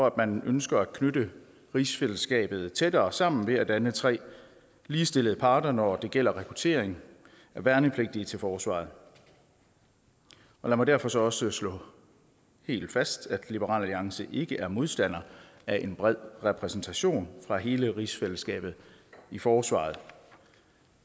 at man ønsker at knytte rigsfællesskabet tættere sammen ved at danne tre ligestillede parter når det gælder rekruttering af værnepligtige til forsvaret lad mig derfor så også slå helt fast at liberal alliance ikke er modstander af en bred repræsentation fra hele rigsfællesskabet i forsvaret